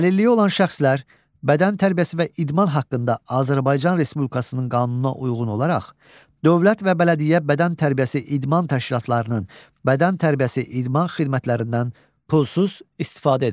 Əlilliyi olan şəxslər bədən tərbiyəsi və idman haqqında Azərbaycan Respublikasının qanununa uyğun olaraq, dövlət və bələdiyyə bədən tərbiyəsi idman təşkilatlarının bədən tərbiyəsi idman xidmətlərindən pulsuz istifadə edirlər.